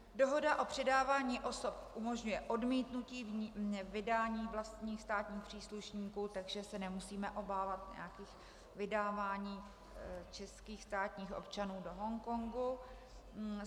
Dohoda o předávání osob umožňuje odmítnutí vydání vlastních státních příslušníků, takže se nemusíme obávat nějakých vydávání českých státních občanů do Hongkongu.